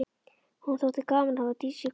Honum þótti gaman að hafa Dísu í kaupavinnu.